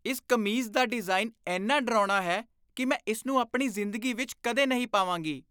ਇਸ ਕਮੀਜ਼ ਦਾ ਡਿਜ਼ਾਈਨ ਇੰਨਾ ਡਰਾਉਣਾ ਹੈ ਕਿ ਮੈਂ ਇਸ ਨੂੰ ਆਪਣੀ ਜ਼ਿੰਦਗੀ ਵਿੱਚ ਕਦੇ ਨਹੀਂ ਪਾਵਾਂਗੀ।